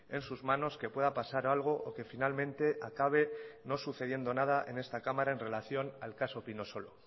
en sus manos que pueda pasar algo o que finalmente acabe no sucediendo nada en esta cámara en relación al caso pinosolo